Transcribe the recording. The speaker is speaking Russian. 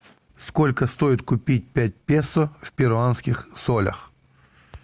сколько стоит купить пять песо в перуанских солях